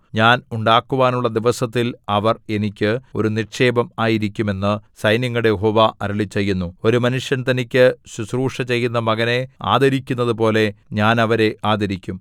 ഞാൻ ഉണ്ടാക്കുവാനുള്ള ദിവസത്തിൽ അവർ എനിക്ക് ഒരു നിക്ഷേപം ആയിരിക്കും എന്നു സൈന്യങ്ങളുടെ യഹോവ അരുളിച്ചെയ്യുന്നു ഒരു മനുഷ്യൻ തനിക്കു ശുശ്രൂഷചെയ്യുന്ന മകനെ ആദരിക്കുന്നതുപോലെ ഞാൻ അവരെ ആദരിക്കും